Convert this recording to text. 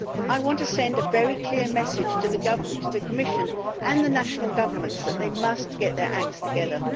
I want to send a very clear message to the Commission and the national governments that they must get their acts together.